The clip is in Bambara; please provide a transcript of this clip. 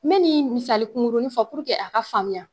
N be nin misali kurunni fɔ puruke a ka faamuya